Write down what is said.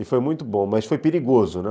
E foi muito bom, mas foi perigoso, né?